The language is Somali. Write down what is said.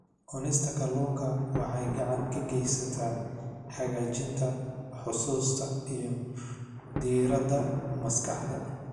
Cunista kalluunka waxay gacan ka geysataa hagaajinta xusuusta iyo diiradda maskaxda.